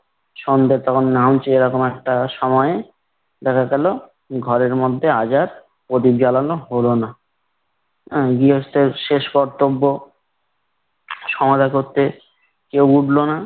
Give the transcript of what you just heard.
সন্ধ্যা তখন নামছে এরকম একটা সময়ে দেখা গেলো ঘরের মধ্যে আজ আর প্রদীপ জ্বালানো হলো না। গৃহস্থের শেষ কর্তব্য সমাধা করতে কেউ উঠল না।